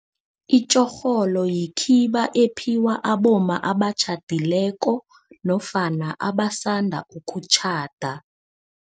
Itjorholo yikhiba ephiwa abomma abatjhadileko nofana abasanda ukutjhada.